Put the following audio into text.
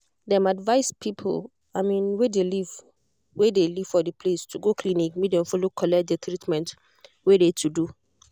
dem advised people wey de live wey de live for de place to go clinic make dem follow collect de treatment wey de to do.